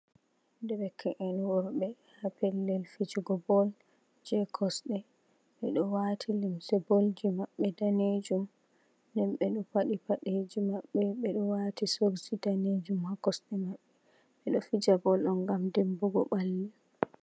Derke’en worɓɓe ha pelel fijugo bol je kosɗe, ɓeɗo wati limse bol ji maɓɓe ɗanejum, den ɓeɗo paɗi paɗeji maɓɓe ɓe soks ɗanejum ha kosɗe maɓɓe, ɓe ɗo fija bol on ngam dimɓugo ɓalli.